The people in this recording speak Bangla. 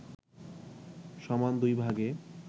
সমান দুই ভাগে